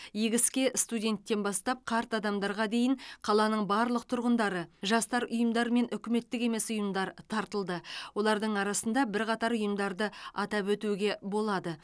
игі іске студенттен бастап қарт адамдарға дейін қаланың барлық тұрғындары жастар ұйымдары мен үкіметтік емес ұйымдар тартылды олардың арасында бірқатар ұйымдарды атап өтуге болады